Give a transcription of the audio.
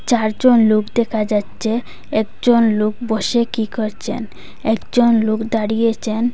চারজন লোক দেখা যাচ্ছে একজন লোক বসে কী করছেন একজন লোক দাঁড়িয়েছেন।